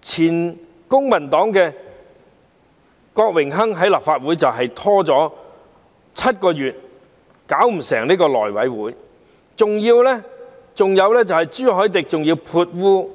前公民黨的郭榮鏗在立法會拖延了7個月，令內務委員會"搞唔成"，還有朱凱廸潑污